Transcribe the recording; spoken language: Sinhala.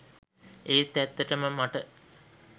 ඒත් ඇත්තටම මට.